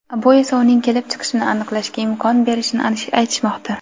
bu esa uning kelib chiqishini aniqlashga imkon berishini aytishmoqda.